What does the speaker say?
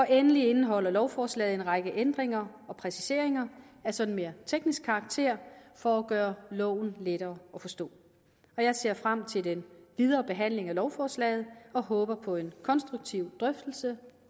endelig indeholder lovforslaget en række ændringer og præciseringer af sådan mere teknisk karakter for at gøre loven lettere at forstå jeg ser frem til den videre behandling af lovforslaget og håber på en konstruktiv drøftelse